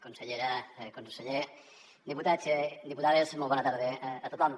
consellera conseller diputats diputades molt bona tarda a tothom